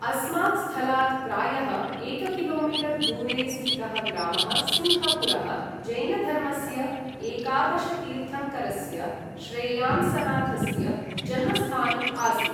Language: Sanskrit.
अस्मात् स्थलात् प्रायः एककिलोमीटर् दूरे स्थितः ग्रामः सिंहपुरः जैनधर्मस्य एकादशतीर्थङ्करस्य श्रेयांसनाथस्य जन्मस्थानम् आसीत्।